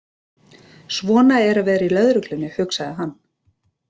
Svona er að vera í lögreglunni, hugsaði hann.